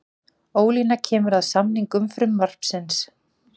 Ólína kemur að samningu frumvarpsins